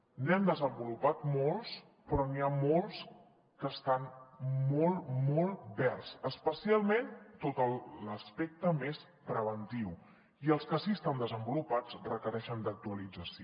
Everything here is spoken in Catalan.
n’hem desenvolupat molts però n’hi ha molts que estan molt molt verds especialment tot l’aspecte més preventiu i els que sí que estan desenvolupats requereixen actualització